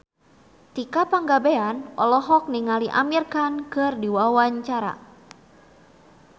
Tika Pangabean olohok ningali Amir Khan keur diwawancara